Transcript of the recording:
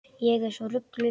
Ég er svo rugluð.